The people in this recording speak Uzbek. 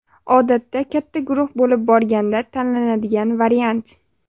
Odatda katta guruh bo‘lib borganda tanladigan variant.